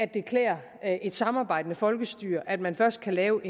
det klæder et samarbejdende folkestyre at man først kan lave